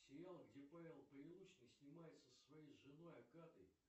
сериал где павел прилучный снимается со своей женой агатой